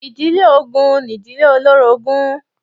Ìdílé ogun ni ìdílé olórogún